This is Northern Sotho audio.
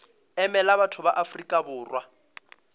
emela batho ba afrika borwa